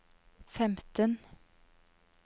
femten